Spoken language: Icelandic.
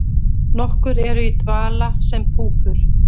Nokkur eru í dvala sem púpur.